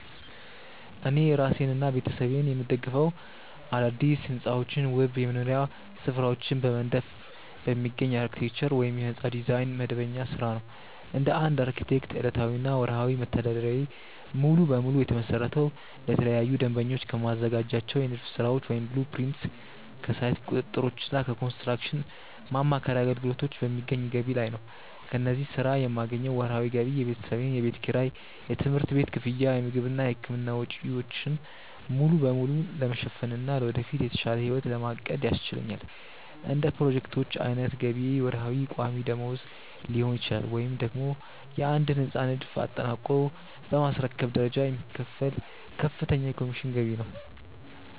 እኔ እራሴንና ቤተሰቤን የምደግፈው አዳዲስ ሕንፃዎችንና ውብ የመኖሪያ ስፍራዎችን በመንደፍ በሚገኝ የአርክቴክቸር (የሕንፃ ዲዛይን) መደበኛ ሥራ ነው። እንደ አንድ አርክቴክት፣ ዕለታዊና ወርሃዊ መተዳደሪያዬ ሙሉ በሙሉ የተመሰረተው ለተለያዩ ደንበኞች ከማዘጋጃቸው የንድፍ ሥራዎች (blueprints)፣ ከሳይት ቁጥጥሮችና ከኮንስትራክሽን ማማከር አገልግሎቶች በሚገኝ ገቢ ላይ ነው። ከዚህ ሥራ የማገኘው ወርሃዊ ገቢ የቤተሰቤን የቤት ኪራይ፣ የትምህርት ቤት ክፍያ፣ የምግብና የሕክምና ወጪዎችን ሙሉ በሙሉ ለመሸፈንና ለወደፊት የተሻለ ሕይወት ለማቀድ ያስችለኛል። እንደ ፕሮጀክቶቹ ዓይነት ገቢዬ ወርሃዊ ቋሚ ደመወዝ ሊሆን ይችላል፤ ወይም ደግሞ የአንድን ሕንፃ ንድፍ አጠናቆ በማስረከብ በደረጃ የሚከፈል ከፍተኛ የኮሚሽን ገቢ ነው።